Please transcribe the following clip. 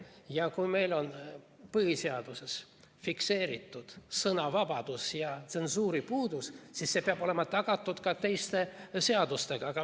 Ja kui meil on põhiseaduses fikseeritud sõnavabadus ja tsensuuri puudumine, siis need peavad olema tagatud ka teiste seadustega.